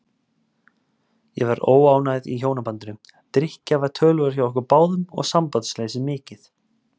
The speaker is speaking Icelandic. Ég var óánægð í hjónabandinu, drykkja var töluverð hjá okkur báðum og sambandsleysið mikið.